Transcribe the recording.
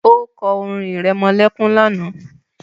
O kọ́ orin irẹmọlẹ́kún lánàá